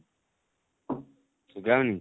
Suga ହଉନି